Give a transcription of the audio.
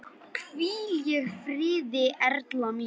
Hvíl í friði Erla mín.